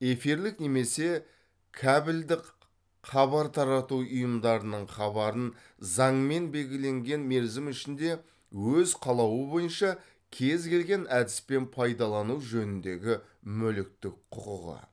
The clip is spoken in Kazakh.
эфирлік немесе кәбілдік хабар тарату ұйымдарының хабарын заңмен белгіленген мерзім ішінде өз қалауы бойынша кез келген әдіспен пайдалану жөніндегі мүліктік құқығы